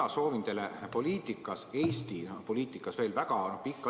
Mina soovin teile poliitikas, Eesti poliitikas veel väga pikka iga!